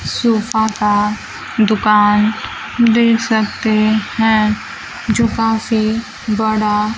sofa का दुकान देख सकते है जो काफी बड़ा--